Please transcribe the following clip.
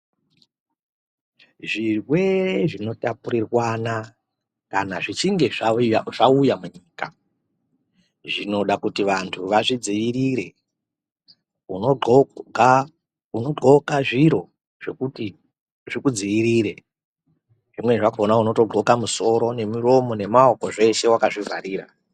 Zvirwere zvino tapurirwana kana zvi chinge zvauya munyika zvinoda kuti vantu vazvi dzivirire uno ndxoka zviro zvekuti zviku dzivirire zvimweni zvakona unoto ndxoka musoro ne muromo ne maoko zveshe wakazvi vharira.